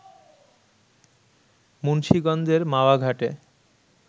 মুন্সীগঞ্জের মাওয়া ঘাটে